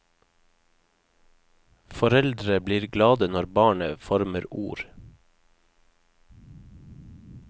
Foreldre blir glade når barnet former ord.